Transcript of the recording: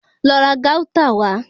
Lọ ra Gauta wà